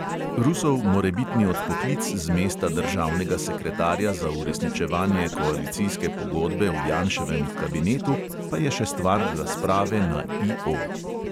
Rusov morebitni odpoklic z mesta državnega sekretarja za uresničevanje koalicijske pogodbe v janševem kabinetu pa je še stvar razprave na IO.